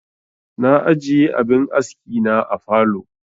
Na ajiye abin aski na a falow